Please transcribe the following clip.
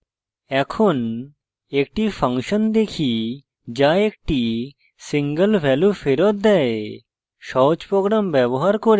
এখন একটি ফাংশন দেখি যা একটি single value ফেরত দেয়